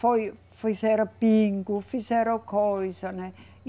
Foi, fizeram bingo, fizeram coisa, né?